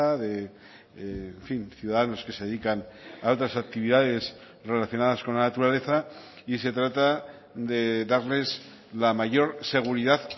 de en fin ciudadanos que se dedican a otras actividades relacionadas con la naturaleza y se trata de darles la mayor seguridad